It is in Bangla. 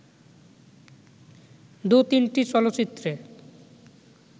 দু'তিনটি চলচ্চিত্রে